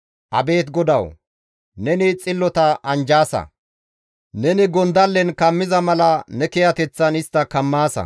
Abeet GODAWU! Neni xillota anjjaasa; Neni gondallen kammiza mala ne kiyateththan istta kammaasa.